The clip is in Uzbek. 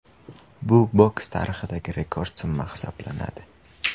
Bu boks tarixidagi rekord summa hisoblanadi.